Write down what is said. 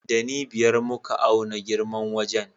Ɗani biyar muka auna girman wajen.